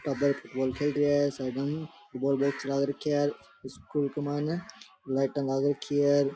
Football खेल रेया है साइडा में बो बैंच लाग राखी है स्कूल के माइने लाइटा लाग रखी है।